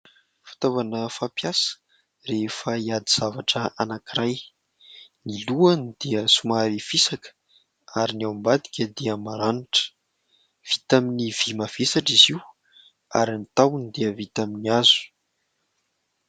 Fitaovana fampiasa rehefa hiady zavatra anankiray. Ny lohany dia somary fisaka ary ny ao ambadika dia maranitra, vita amin'ny vy mavesatra izy io, ary ny tahony dia vita amin'ny hazo.